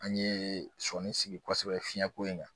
An ye sɔnni sigi kosɛbɛ fiɲɛko in kan